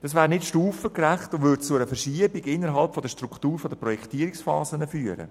Das wäre nicht stufengerecht und würde zu einer Verschiebung innerhalb der Struktur der Projektierungsphasen führen.